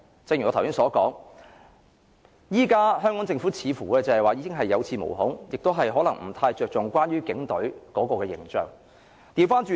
正如我剛才所說，現時香港政府似乎是有恃無恐，不太着重警隊的形象。